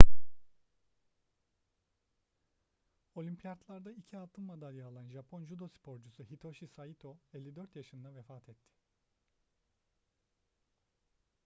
olimpiyatlarda iki altın madalya alan japon judo sporcusu hitoshi saito 54 yaşında vefat etti